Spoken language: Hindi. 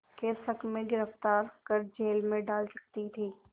के शक में गिरफ़्तार कर जेल में डाल सकती थी